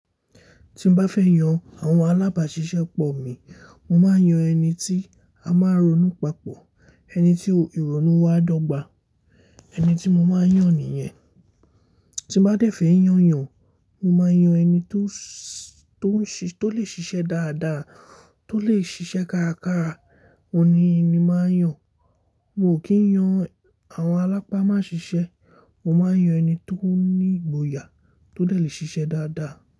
Tí mo bá fẹ́ yan àwọn alábàáṣiṣẹ́ pọ̀ mi, mo máa yan ẹni tí a máa ronú papọ̀, ẹni tí ìrònú wa dọ́gba, ẹni tí mo máa ń yàn nìyẹn. Tí mo bá dẹ̀ fẹ́ yàn yàn, mo máa yan ẹni tó ṣé, tó lè ṣiṣẹ́ dáadáa, tó lè ṣiṣẹ́ kárakára, òun ni mo máa yàn. Mo kì í yan àwọn alápá ma ṣiṣẹ́, mo máa ń yan ẹni tó ní ìgboyà, tó dè lè ṣiṣẹ́ dáadáa.